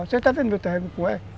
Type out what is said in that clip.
Você está vendo meu